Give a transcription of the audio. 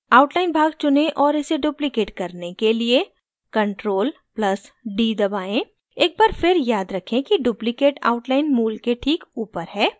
outline भाग चुनें और इसे duplicate करने के लिए ctrl + d दबाएं एक बार फिर याद रखें कि duplicate outline मूल के ठीक ऊपर है